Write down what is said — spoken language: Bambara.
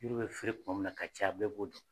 Yiri be fere tuma min na ka caya bɛɛ b'o dɔ.